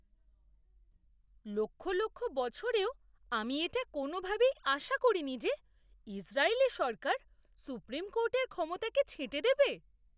লক্ষ লক্ষ বছরেও আমি এটা কোনওভাবেই আশা করিনি যে ইসরায়েলি সরকার সুপ্রিম কোর্টের ক্ষমতাকে ছেঁটে দেবে!